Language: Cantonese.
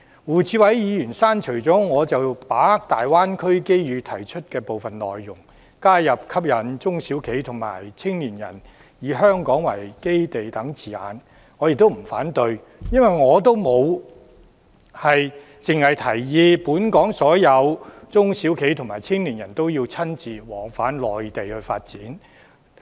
胡志偉議員刪除了我就把握大灣區機遇提出的部分內容，加入吸引中小企和青年人以香港為基地等字眼，我不會反對，因為我的建議沒有限制本港所有中小企和青年人都要返回內地發展。